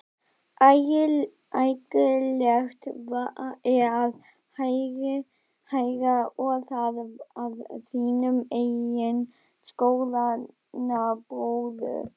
Ægilegt er að heyra, og það af þínum eigin skoðanabróður?